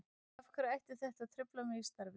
Af hverju ætti þetta að trufla mig í starfi?